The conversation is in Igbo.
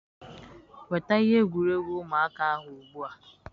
Nweta ihe egwuregwu ụmụaka ahụ ugbu a.